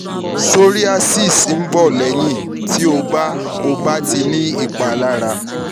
psoriasis n bọ́ lẹ́yìn tí o bá o bá ti ní ìpalára